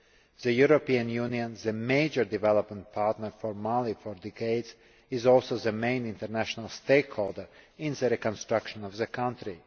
The European Union, the major development partner for Mali for decades, is also the main international stakeholder in the reconstruction of the country.